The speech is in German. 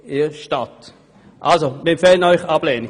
Wir empfehlen Ihnen somit die Ablehnung.